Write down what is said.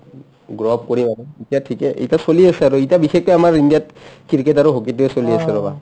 grab কৰিম আৰু ইতা ঠিকে এই ইতা চলি আছে আৰু ইতা বিশেষকে আমাৰ ইণ্ডিয়াত cricket আৰু hockey টোয়ে চলি আছে ৰবা